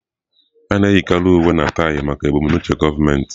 A na-eyikarị uwe na taị maka ebumnuche gọọmentị.